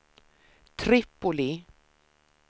Tripoli